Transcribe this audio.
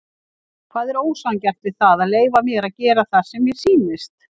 Hvað er ósanngjarnt við það að leyfa mér að gera það sem mér sýnist?